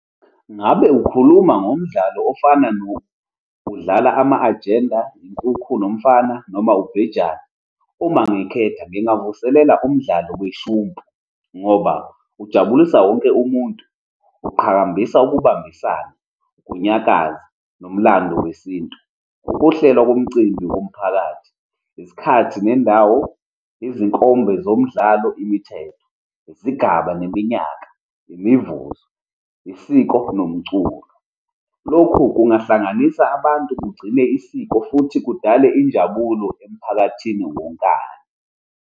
Ngabe ukhuluma ngomdlalo ofana udlala ama-agenda, inkukhu nomfana, noma ubhejane? Uma ngikhetha, ngingavuselela umdlalo weshumpu, ngoba ujabulisa wonke umuntu, uqhakambisa ukubambisana, ukunyakaza, nomlando wesintu. Ukuhlela komcimbi womphakathi, isikhathi nendawo, izinkomba zomdlalo, imithetho, izigaba neminyaka, imivuzo, isiko nomculo. Lokhu kungahlanganisa abantu kugcine isiko futhi kudale injabulo emphakathini wonkana.